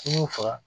I y'u faga